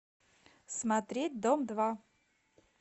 смотреть дом два